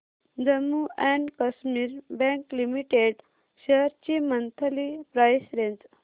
Jammu and Kashmir bank limited shares ची monthly price range